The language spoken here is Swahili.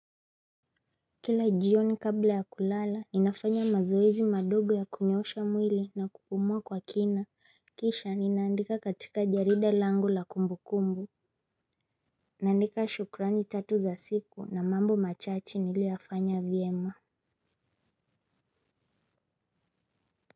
Kila jioni kabla ya kulala ninafanya mazoezi madogo ya kunyoosha mwili na kukomaa kwa kina kisha ninaandika katika jarida langu la kumbu kumbu. Naandika shukurani tatu za siku na mambo machache niliyoyafanya vyema.